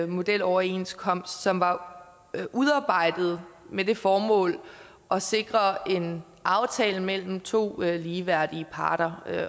modeloverenskomst som var udarbejdet med det formål at sikre en aftale mellem to ligeværdige parter